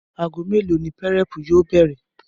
Aago mélòó ni púré̩è̩pù yóò bè̩rè̩?